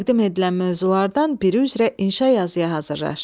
Təqdim edilən mövzulardan biri üzrə inşa yazıya hazırlaş.